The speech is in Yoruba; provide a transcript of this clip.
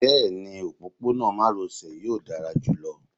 bẹẹni, ọpọpọnọ maròsè yọọ dara julọ.